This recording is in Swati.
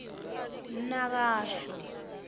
nakasho